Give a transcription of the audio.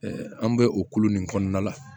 an bɛ o kolo nin kɔnɔna la